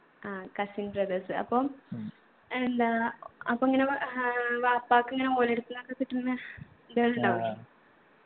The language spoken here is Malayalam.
ആ cousin brothers അപ്പം എന്താ അപ്പൊ ഇങ്ങന ഏർ വാപ്പാക്ക് ഇങ്ങനെ ഓലടുത്തുന്നൊക്കെ കിട്ടുന്ന ഇത്കളുണ്ടാവൂലെ